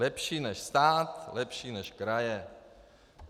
Lepší než stát, lepší než kraje.